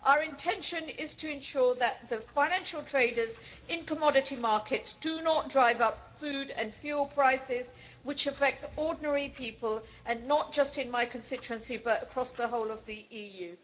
Our intention is to ensure that the financial traders in commodity markets do not drive up food and fuel prices, which affect ordinary people, not just in my constituency, but across the whole of the EU.